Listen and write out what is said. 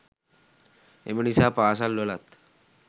එම නිසා පාසල්වලත්